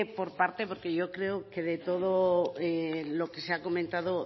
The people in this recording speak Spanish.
por partes porque yo creo que de todo lo que se ha comentado